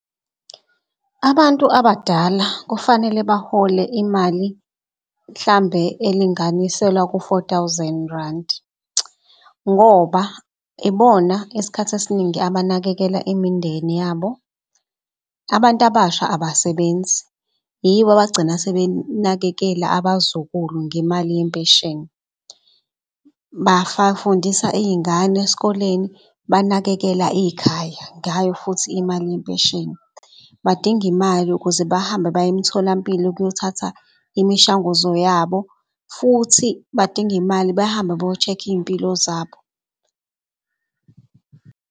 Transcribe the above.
Abantu abadala kufanele bahole imali mhlambe elinganiselwa ku-four thousand randi ngoba ibona isikhathi esiningi abanakekela imindeni yabo. Abantu abasha abasebenzi yibo abagcina sebenakekela abazukulu ngemali yempesheni. fundisa iy'ngane eskoleni, banakekela ikhaya ngayo futhi imali yempesheni. Badinga imali ukuze bahambe baye emtholampilo ukuyothatha imishanguzo yabo futhi badinga imali bahamba bayo-check iy'mpilo zabo.